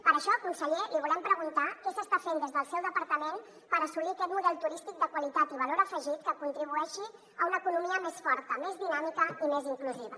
per això conseller li volem preguntar què s’està fent des del seu departament per assolir aquest model turístic de qualitat i valor afegit que contribueixi a una economia més forta més dinàmica i més inclusiva